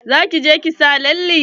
Za ki je ki sa lalle?